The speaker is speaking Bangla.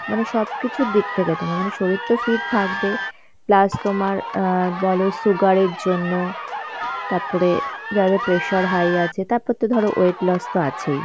মানে সব কিছুর দিক থেকে তোমার মানে শরীর তো fit থাকবে, plus তোমার অ্যাঁ বলো sugar এর জন্য তাপরে যাদের pressure high আছে, তাপর তো ধরো weight loss তো আছেই.